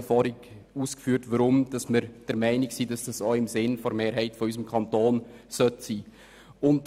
Ich habe vorher ausgeführt, weshalb wir der Meinung sind, dies sollte auch im Sinne der Mehrheit unseres Kantons sein.